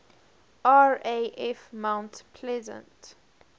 raf mount pleasant